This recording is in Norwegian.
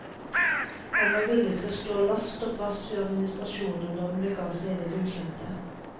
Han var villig til å stå last og brast med administrasjonen når den bega seg inn i det ukjente.